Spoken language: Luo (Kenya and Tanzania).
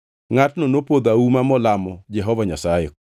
Ngʼatno nopodho auma molamo Jehova Nyasaye,